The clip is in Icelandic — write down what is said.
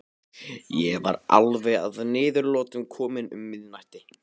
Ég var alveg að niðurlotum kominn um miðnætti.